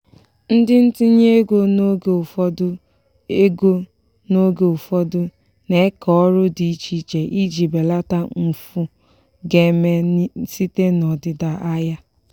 ndị ntinye ego n'oge ụfọdụ ego n'oge ụfọdụ n'eke ọrụ dị iche iche iji belata mfu ga-eme site n'ọdịda ahịa.